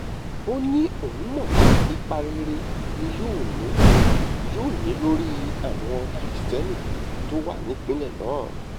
ó ní òun mọ̀ pé ipa rere ni yóò ni yóò ní lórí àwọn kirisítérì tó wà nípìnlẹ̀ náà